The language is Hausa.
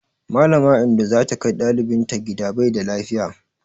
Mallama Indo za ta kai ɗalibinta gida bai da lafiya.